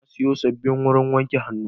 Na sayo sabbin wurin wanke hannu.